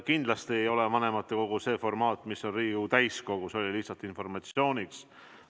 Kindlasti ei ole vanematekogu see formaat, mis on Riigikogu täiskogu, see oli öeldud lihtsalt informatsiooniks.